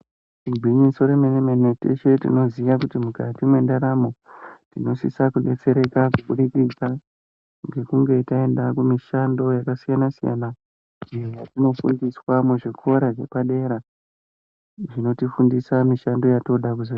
Gwinyiso remene-mene, teshe tinoziya kuti mukati mendaramo tinosisa kudetsereka kuburikidza nekunge taenda kumishando yakasiyana-siyana, iyo yetinofundiswa muzvikora zvepadera zvinotifundisa mishando yatoda kuzoita.